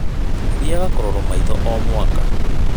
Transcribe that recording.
Thiaga kũrorwo maitho O mwakà.